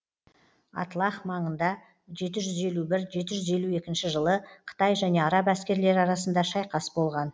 атлах маңында жеті жүз елу бір жеті жүз елу екінші жылы қытай және араб әскерлері арасында шайқас болған